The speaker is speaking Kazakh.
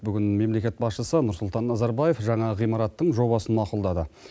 бүгін мемлекет басшысы нұрсұлтан назарбаев жаңа ғимараттың жобасын мақұлдады